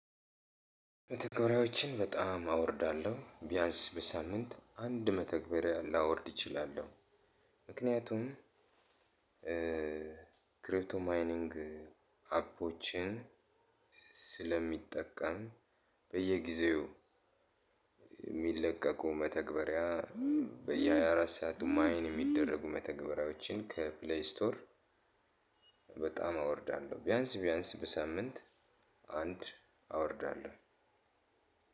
መተግበሪያዎችን በጣም አወርዳለሁ ቢያንስ በሳምንት አንድ መተግበሪያ ላወርድ እችላለሁ። ምክንያቱም ክሪፕቶ ማይኒንግ አፖችን ስለሚጠቀም በየጊዜው የሚለቀቀው መተግበሪያ በየአራት ሰዓቱ ማይን የሚደረጉ መተግበሪያዎችን ከፕሌይ ስቶር። በጣም አወርዳለሁ ቢያንስ ቢያንስ በሳምንት አንድ አወርዳለሁ።